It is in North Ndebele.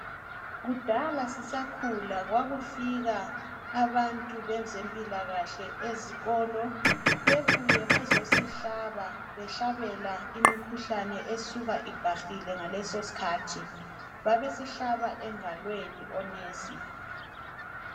Kudala sisakhula kwakufika abantu bezempilakahle ezikolo bebuye bezosihlaba behlabela imikhuhlane esuka ibhahile ngaleso skhathi babesihlaba engalweni omongikazi.